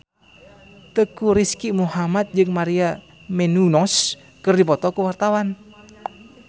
Teuku Rizky Muhammad jeung Maria Menounos keur dipoto ku wartawan